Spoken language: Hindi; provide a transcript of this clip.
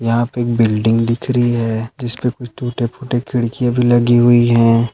यहाँ पे एक बिल्डिंग दिख रही है जिस पे टूटे फूटे खिड्किया भी लगी हुई है।